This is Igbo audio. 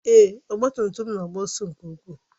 Èé, ọgba tum tum m na-agba ọsọ nke ukwuu.